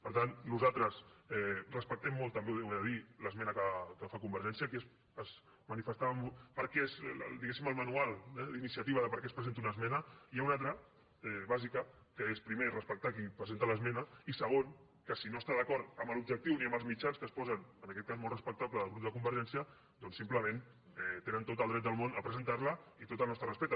per tant nosaltres respectem molt també ho he de dir l’esmena que fa convergència perquè és diguéssim al manual d’iniciativa de per què es presenta una esmena i n’hi ha una altra bàsica que és primer respectar qui presenta l’esmena i segon que si no està d’acord amb els objectius ni amb els mitjans que s’hi posen en aquest cas molt respectables del grup de convergència doncs simplement tenen tot el dret del món a presentar la i tot el nostre respecte